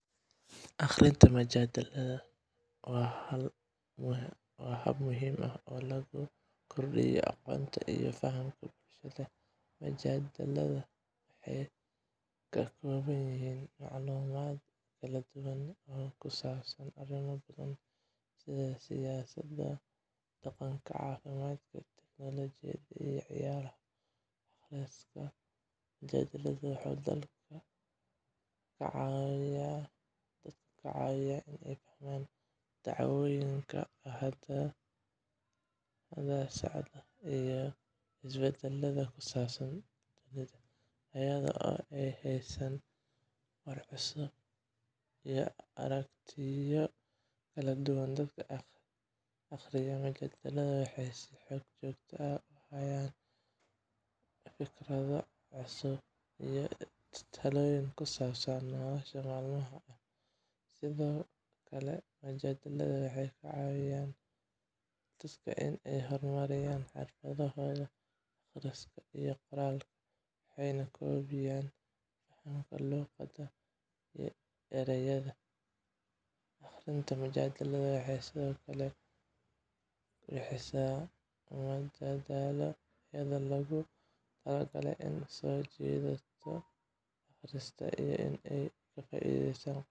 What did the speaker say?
Akhriyada majalladaha waa hab muhiim ah oo lagu kordhinayo aqoonta iyo fahamka bulshada. Majalladaha waxay ka kooban yihiin macluumaad kala duwan oo ku saabsan arrimo badan sida siyaasadda, dhaqanka, caafimaadka, teknoolojiyadda, iyo ciyaaraha. Akhriska majalladaha wuxuu dadka ka caawiyaa inay fahmaan dhacdooyinka hadda socda iyo isbeddelada ku saabsan dunida, iyadoo ay helayaan warar cusub iyo aragtiyo kala duwan. Dadka akhriya majalladaha waxay si joogto ah u helaan fikrado cusub iyo talooyin ku saabsan nolosha maalinlaha ah. Sidoo kale, majalladuhu waxay ka caawiyaan dadka inay horumariyaan xirfadooda akhriska iyo qoraalka, waxayna kobciyaan fahamka luuqadda iyo erayada. Akhrinta majalladaha waxay sidoo kale bixisaa madadaalo, iyadoo loogu talagalay inay soo jiidato akhristaha, si ay uga faa'ideystaan qoraallada